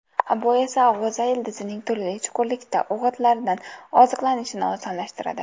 Bu esa g‘o‘za ildizining turli chuqurlikda o‘g‘itlardan oziqlanishini osonlashtiradi.